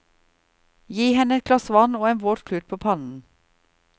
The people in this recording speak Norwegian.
Gi henne et glass vann og en våt klut på pannen.